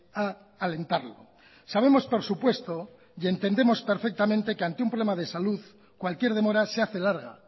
a alentarlo sabemos por supuesto y entendemos perfectamente que ante un problema de salud cualquier demora se hace larga